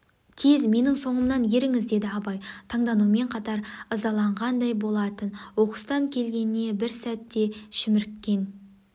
тез менің соңымнан еріңіз деді абай танданумен қатар ызаланғандай болатын оқыстан келгеніне бір сәт те шіміріккен